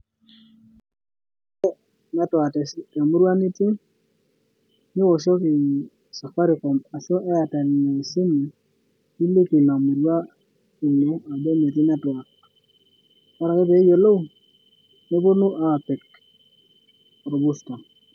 Ore network tewueji nitii niwoshoki safaricom ashu Airtel esimu niliki Ina murua Ino ajo metii netwak ore ake pee eyiolou ajo metii netwak neponu aapik orbusta.